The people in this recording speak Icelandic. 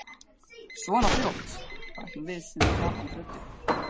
. svona fljótt, bætti hún við sinni gapandi röddu.